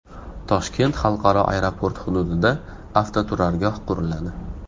Toshkent xalqaro aeroport hududida avtoturargoh quriladi.